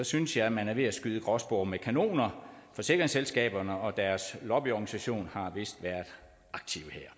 synes jeg man er ved at skyde gråspurve med kanoner forsikringsselskaberne og deres lobbyorganisation har vist været aktive her